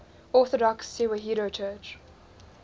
orthodox tewahedo church